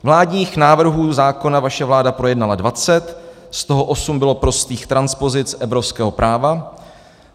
Vládních návrhů zákona vaše vláda projednala 20, z toho osm bylo prostých transpozic evropského práva.